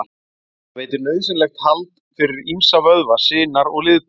Það veitir nauðsynlegt hald fyrir ýmsa vöðva, sinar og liðbönd.